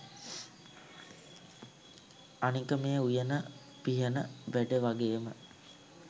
අනික මේ උයන පිහන වැඩ වගේම